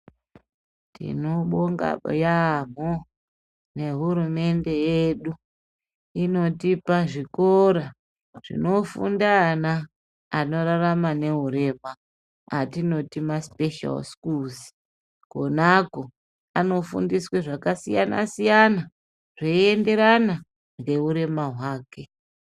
Tinobonga yaamho nehurumende yedu inotipa zvikora zvinofunda ana anorarama nehurema atinoti masipeshari sikuruzi. Konako ,anofundiswe zvakasiyana-siyana zveienderana ngehurema hwake.